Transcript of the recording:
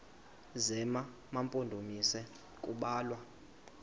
zema mpondomise kubalwa